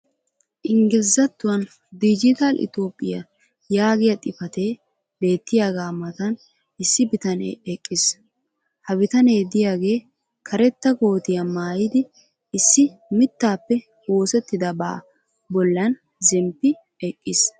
Ingglizzattuwan "digital Ethiopia" Yaagiya xifatee beettiyaaga matan issi bitanee eqqiis. ha bitanee diyaagee karetta koottiya maayidi issi mitaappe oosetidabaa bolan zempi eqqiis.